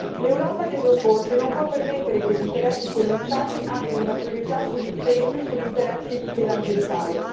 L'Europa deve opporsi e non può permettere che gli interessi commerciali abbiano sempre la priorità sugli interessi di tutela ambientale.